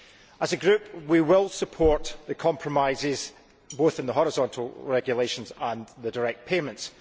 As a Group, we will support the compromises, both in the horizontal regulations and the direct payments.